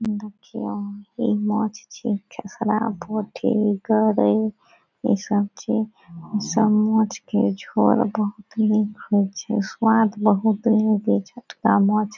देख छी वहाँ पे नाच छी समझ के --